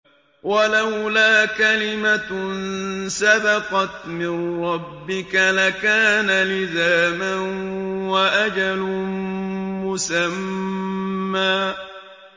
وَلَوْلَا كَلِمَةٌ سَبَقَتْ مِن رَّبِّكَ لَكَانَ لِزَامًا وَأَجَلٌ مُّسَمًّى